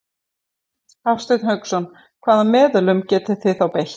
Hafsteinn Hauksson: Hvaða meðölum getið þið þá beitt?